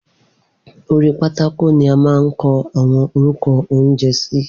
Orí pátákò ni a máa ń kọ àwọn orúkọ oúnjẹ sí